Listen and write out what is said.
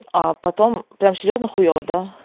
а потом прямо серьёзно хуева да